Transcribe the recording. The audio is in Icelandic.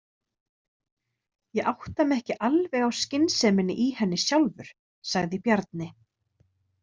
Ég átta mig ekki alveg á skynseminni í henni sjálfur, sagði Bjarni.